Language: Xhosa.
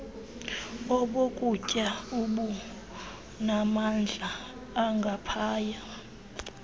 obokutya obunamandla angaphaya